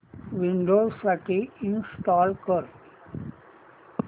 Windows साठी install कर